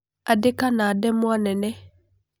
Andĩka na ndemwa nene.